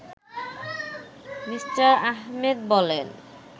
Me. Ahmed বলেন